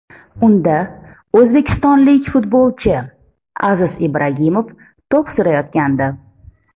Unda o‘zbekistonlik futbolchi Aziz Ibragimov to‘p surayotgandi.